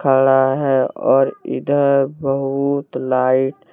खड़ा हैऔर इधर बहुत लाइट --